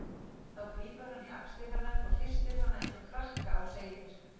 Þá grípur hann í axlir hennar og hristir hana einsog krakka og segir